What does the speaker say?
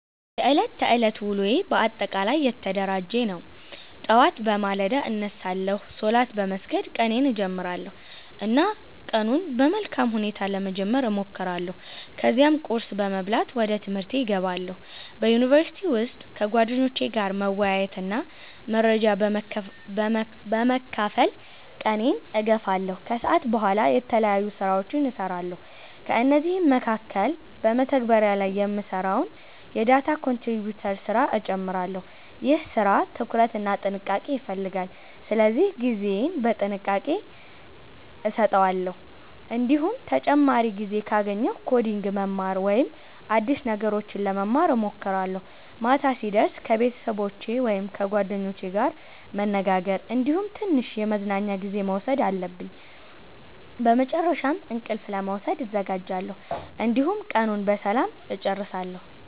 የዕለት ተዕለት ውሎዬ በአጠቃላይ የተደራጀ ነው። ጠዋት በማለዳ እነሳለሁ፣ ሶላት በመስገድ ቀኔን እጀምራለሁ እና ቀኑን በመልካም ሁኔታ ለመጀመር እሞክራለሁ። ከዚያም ቁርስ በመብላት ወደ ትምህርቴ እገባለሁ። በዩኒቨርሲቲ ውስጥ ከጓደኞቼ ጋር መወያየትና መረጃ በመካፈል ቀኔን እገፋለሁ። ከሰዓት በኋላ የተለያዩ ስራዎችን እሰራለሁ፤ ከእነዚህ መካከል በመተግበሪያ ላይ የምሰራውን የdata contributor ስራ እጨምራለሁ። ይህ ስራ ትኩረት እና ጥንቃቄ ይፈልጋል ስለዚህ ጊዜዬን በጥንቃቄ አሰተዋለሁ። እንዲሁም ተጨማሪ ጊዜ ካገኘሁ ኮዲንግ ማማር ወይም አዲስ ነገሮች ለመማር እሞክራለሁ። ማታ ሲደርስ ከቤተሰቦቸ ወይም ከጓደኞቼ ጋር መነጋገር እንዲሁም ትንሽ የመዝናኛ ጊዜ መውሰድ አለብኝ። በመጨረሻም እንቅልፍ ለመውሰድ እዘጋጃለሁ፣ እንዲሁም ቀኑን በሰላም እጨርሳለሁ።